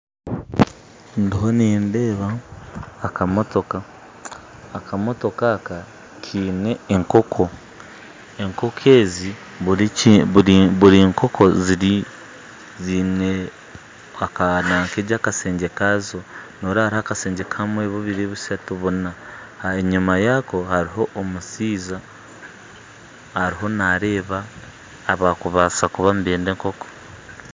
Ndiho nindeeba akamotooka, akamotooka aka kaine enkooko, buri nkooko zaine akashegye kazo, noreeba hariho akashegye kamwe, bubiire, bushantu buna, enyima yaako hariho omushaija ariho nareeba abakubaasa kuba nibenda enkooko